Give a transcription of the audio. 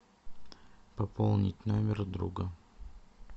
пополнить номер друга